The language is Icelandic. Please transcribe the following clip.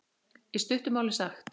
Í stuttu máli sagt.